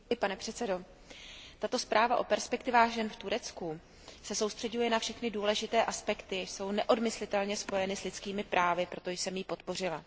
Pane předsedající, tato zpráva o perspektivách žen v Turecku se soustřeďuje na všechny důležité aspekty, jež jsou neodmyslitelně spojeny s lidskými právy, proto jsem ji podpořila.